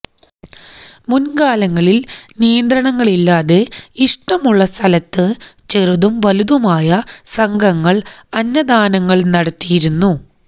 മുന്കാലങ്ങളില് നിയന്ത്രണങ്ങളില്ലാതെ ഇഷ്ടമുള്ള സ്ഥലത്ത് ചെറുതുംവലുതുമായ സംഘങ്ങള് അന്നദാനങ്ങള് നടത്തിയിരുന്നു